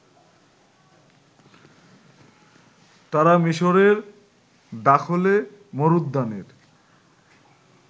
তারা মিশরের দাখলে মরুদ্যানের